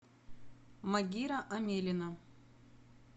магира амелина